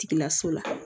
Tigilaso la